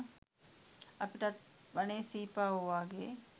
අපිටත් වනේ සීපාවො වාගේ